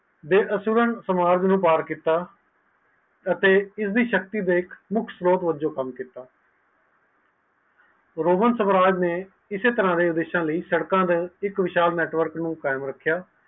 ਇਹ student ਸਮਰੋ ਸਮਾਜ ਵਲੋਂ ਕੀਤਾ ਅਤੇ ਇਸਦੀ ਸਕਦੀ ਦੇਖ ਮੁਖ ਲੋਗ ਰੋਹਨ ਸਾਮਰਾਜ ਨੈ ਕਿਸ ਤਰਾਹ ਸੜਕਆ ਲਈ ਵਿਸ਼ਾਲ network ਨੂੰ ਕਾਇਮ ਰੱਖਿਆ